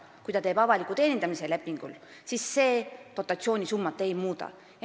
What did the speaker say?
Kui ta teeb avaliku teenindamise lepingu, siis see dotatsioonisummat ei muuda.